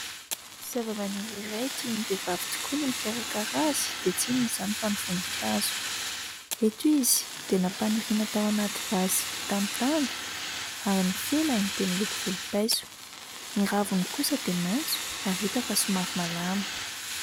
Zava-maniry iray tian'ny vehivavy tokoa ny mikarakara azy, dia tsy inona izany fa ny voninkazo. Eto izy dia nampaniriana tao anaty vazy vita amin'ny tany ary ny felany dia miloko volom-paiso. Ny raviny kosa dia maitso ary hita fa somary malama.